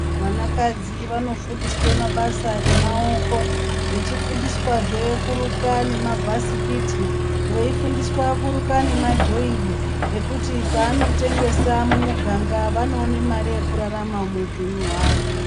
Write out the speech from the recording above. Vana kadzi vanofundiswa mabasa emaoko vachifundiswazve kuruka nemabhasikiti veifundiswa kuruka nemadhoiri nekuti panotengesa mumiganga vanoona Mari yekurarama muhupenyu hwavo.